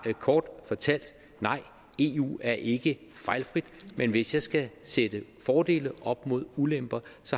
kort fortalt nej eu er ikke fejlfrit men hvis jeg skal sætte fordele op mod ulemper